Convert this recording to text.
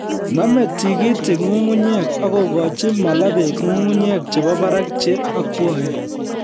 Nomei tikitik nyung'unyek akokochi mala beek nyung'unyek chebo barak che akwaen